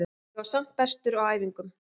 Ég var samt bestur á æfingum.